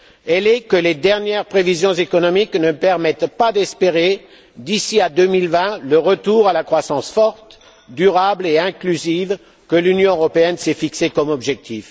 Elle est que les dernières prévisions économiques ne permettent pas d'espérer d'ici à 2020 le retour à la croissance forte, durable et inclusive que l'Union européenne s'est fixé comme objectif.